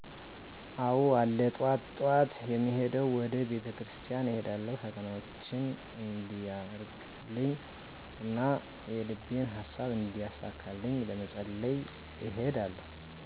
አዎ አለ ጠዋት ጠዋት የምሄደዉ ወደ ቤተክርስቲያን እሄዳለሁ ፈተናዎቸን እንዲያርቅልኝ እና የልቤን ሃሳብ እንዲያሳካልኝ ለመፀለይ እሄዳለሁ